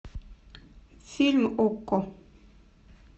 фильм окко